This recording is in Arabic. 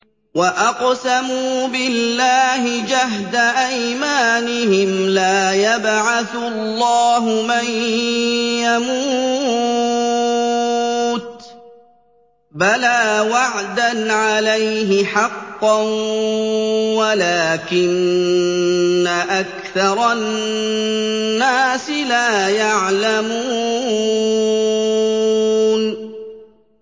وَأَقْسَمُوا بِاللَّهِ جَهْدَ أَيْمَانِهِمْ ۙ لَا يَبْعَثُ اللَّهُ مَن يَمُوتُ ۚ بَلَىٰ وَعْدًا عَلَيْهِ حَقًّا وَلَٰكِنَّ أَكْثَرَ النَّاسِ لَا يَعْلَمُونَ